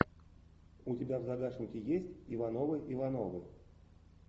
у тебя в загашнике есть ивановы ивановы